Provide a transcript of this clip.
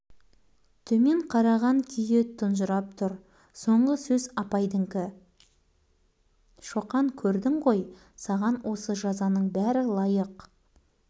апай шоқан өз қатесін мойындап қуаныштан кешірім сұраса осымен қояйық міне қызық бүкіл сынып та шоқан